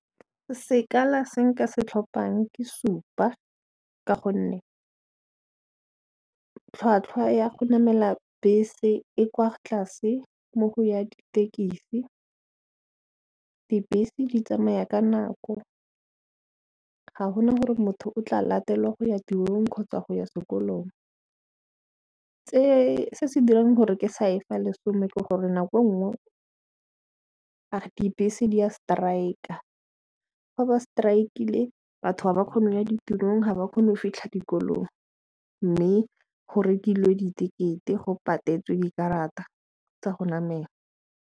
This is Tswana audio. Sekala se nka se tlhophang ke supa ka gonne tlhwatlhwa ya go namela bese e kwa tlase mo go ya ditekisi. Dibese di tsamaya ka nako ga gona gore motho o tla latelwa go ya tirong kgotsa go ya sekolong, se se dirang gore ke sa e fa lesome ke gore nako nngwe dibese di ya strike fa ba strike-ile batho a ba kgone go ya ditirong ga ba kgone go fitlha dikolong mme go rekilwe dikete go patetswe dikarata tsa go namela.